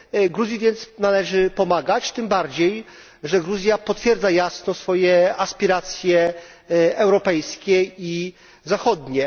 Gruzji więc należy pomagać, tym bardziej, że Gruzja potwierdza jasno swoje aspiracje europejskie i zachodnie.